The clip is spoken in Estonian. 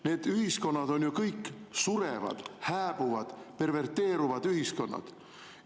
Need ühiskonnad on ju kõik surevad, hääbuvad, perverteeruvad ühiskonnad.